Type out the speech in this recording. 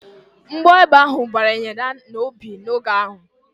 Mgbọ egbe ahụ banyere ya n'obi n'oge agha